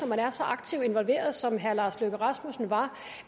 man var så aktiv involveret som herre lars løkke rasmussen var